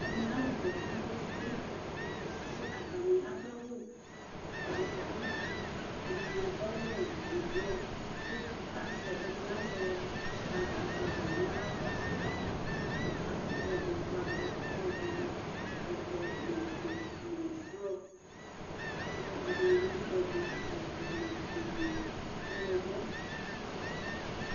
Ɛmɛ aalʋ kɔ kpekpekpe, kʋ atani aɖʋ awu eɖigboƐɖini aɖʋa awu ɔblɔ kʋ aʒɛɛɖini aʒɛ aflaga nʋ aɣla, kʋ atsitɔɖʋ flaga atsitɔɖʋ ɔvɛ, ofue nʋ ɔblɔ kʋ ɖini atsitɔɖʋ ɔvɛ ofue nʋ ɔɣlɔmɔ